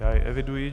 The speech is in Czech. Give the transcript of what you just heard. Já jej eviduji.